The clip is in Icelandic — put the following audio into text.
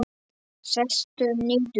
Sestu niður.